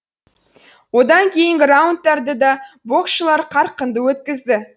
одан кейінгі раундтарды да боксшылар қарқынды өткізді